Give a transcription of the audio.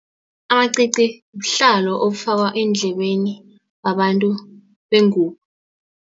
Amacici buhlalo obufakwa eendlebeni babantu bengubo.